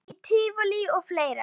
Förum í tívolí og fleira.